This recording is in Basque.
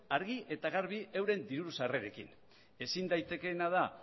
argi eta garbi euren diru sarrerekin ezin daitekeena da